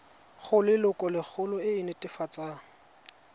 go lelokolegolo e e netefatsang